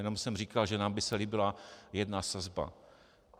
Jenom jsem říkal, že nám by se líbila jedna sazba.